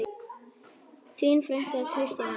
Þín frænka, Kristín Anna.